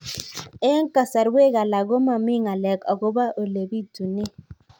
Eng' kasarwek alak ko mami ng'alek akopo ole pitunee